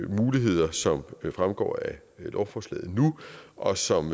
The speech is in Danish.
muligheder som fremgår af lovforslaget nu og som